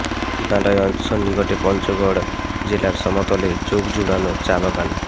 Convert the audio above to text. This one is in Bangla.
হিমালয়ের সন্নিকটে পঞ্চগড় জেলার সমতলে চোখ জুড়ানো চা বাগান